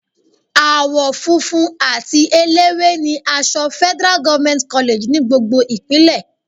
Àwọ funfun àti eléwé ni aṣọ Federal government college ní gbogbo Ìpínlẹ̀.